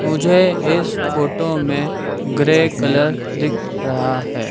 मुझे इस फोटो में ग्रे कलर दिख रहा है।